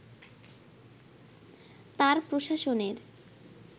তাঁর প্রশাসনের